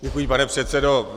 Děkuji, pane předsedo.